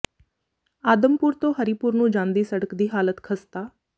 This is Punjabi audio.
ਆਦਮਪੁਰ ਤੋਂ ਹਰੀਪੁਰ ਨੂੰ ਜਾਂਦੀ ਸੜਕ ਦੀ ਹਾਲਤ ਖ਼ਸਤਾ